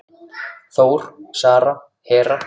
Þór, Sara, Hera.